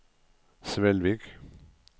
Svelvik